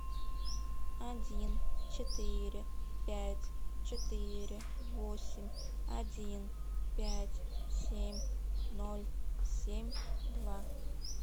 один четыре пять четыре восемь один пять семь ноль семь два